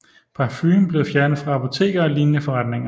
Parfumen blev fjernet fra apoteker og lignende forretninger